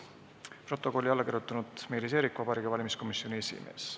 " Protokollile on alla kirjutanud Meelis Eerik, Vabariigi Valimiskomisjoni esimees.